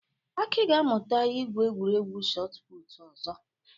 Aki ga-amụta ị gwu egwuregwu Shot Putụ̀ ọzọ.